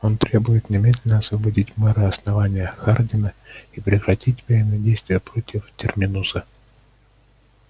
он требует немедленно освободить мэра основания хардина и прекратить военные действия против терминуса